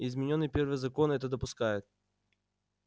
изменённый первый закон это допускает